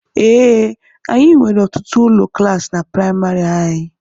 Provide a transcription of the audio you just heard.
Ee, anyị nwere ọtụtụ ụlọ klaasi na praịmarị anyị.